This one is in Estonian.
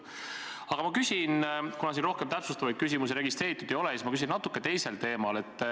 Aga kuna rohkem täpsustavaid küsimusi registreeritud ei ole, siis ma küsin natukene teisel teemal.